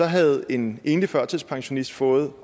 havde en enlig førtidspensionist fået